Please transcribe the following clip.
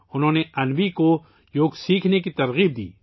انہوں نے انوی کو یوگ سیکھنے کی تحریک دی